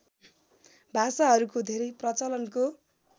भाषाहरूको धेरै प्रचलनको